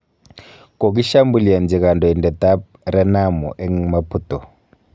Kogishambulianchi kandoindet ab Renamo eng Maputo